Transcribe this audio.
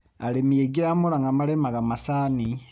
Arĩmi aingĩ a Mũrang'a marĩmaga macani.